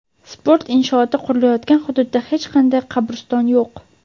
sport inshooti qurilayotgan hududda hech qanday "qabriston yo‘q".